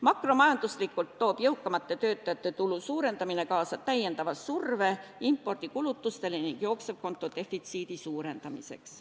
Makromajanduslikult toob jõukamate töötajate tulu suurendamine kaasa täiendava surve impordikulutustele ning jooksevkonto defitsiidi suurendamiseks.